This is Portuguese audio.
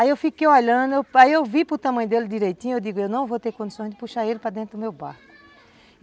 Aí eu fiquei olhando, aí eu vi para o tamanho dele direitinho, eu digo, eu não vou ter condições de puxar ele para dentro do meu barco.